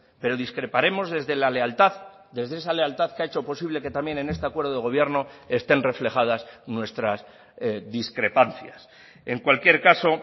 pero discreparemos desde la lealtad desde esa lealtad que ha hecho posible que también en este acuerdo de gobierno estén reflejadas nuestras discrepancias en cualquier caso